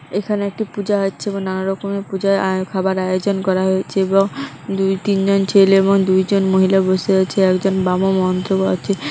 এখানে একটি পুজা হচ্ছে এবং নানা রকমের পুজার আয় খাবার আয়জন করা হয়েছে এবং দুই তিন জন ছেলে এবংদুইজন মহিলা বসে আছে একজন বামা মন্ত্র পড়াছে।